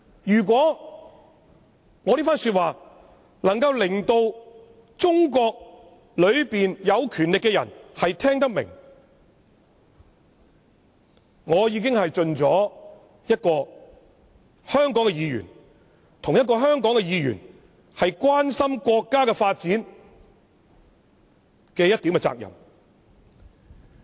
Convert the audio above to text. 如果我這番說話，能夠令中國有權力的人聽得明白，我已經盡了我作為香港議員關心國家發展的一點責任。